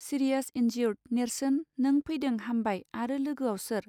Serious injured नेर्सोन नों फैदों हामबाय आरो लोगोआव सोर.